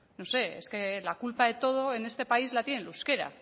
no no sé es que la culpa de todo en este país la tiene el euskera